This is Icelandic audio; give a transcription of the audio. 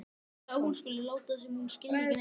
Hissa að hún skuli láta sem hún skilji ekki neitt.